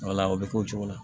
Wala o bɛ k'o cogo la